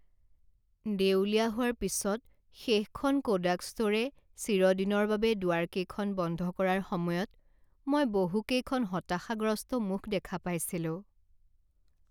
দেউলিয়া হোৱাৰ পিছত শেষখন কোডাক ষ্ট'ৰে চিৰদিনৰ বাবে দুৱাৰকেইখন বন্ধ কৰাৰ সময়ত মই বহুকেইখন হতাশাগ্ৰস্ত মুখ দেখা পাইছিলোঁ।